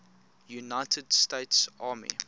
united states army